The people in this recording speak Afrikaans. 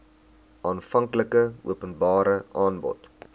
aanvanklike openbare aanbod